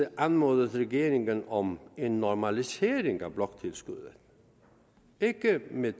anmodet regeringen om en normalisering af bloktilskuddet ikke med